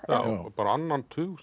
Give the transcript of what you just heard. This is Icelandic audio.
bara á annan tug